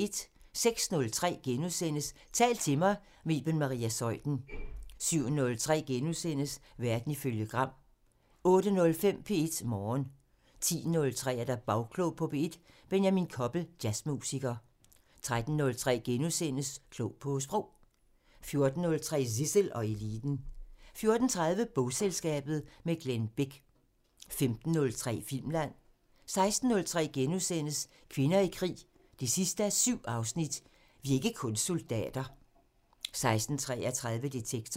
06:03: Tal til mig – med Iben Maria Zeuthen * 07:03: Verden ifølge Gram * 08:05: P1 Morgen 10:03: Bagklog på P1: Benjamin Koppel, jazzmusiker 13:03: Klog på Sprog * 14:03: Zissel og Eliten 14:30: Bogselskabet – med Glenn Bech 15:03: Filmland 16:03: Kvinder i krig 7:7 – "Vi er ikke kun soldater" * 16:33: Detektor